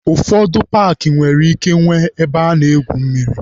Ụfọdụ paakị nwere ike nwee ebe a na-egwu mmiri.